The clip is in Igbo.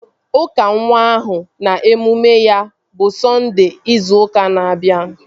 Ụka nwa ahụ na emume ya bụ Sọnde ịzu ụka na-abịa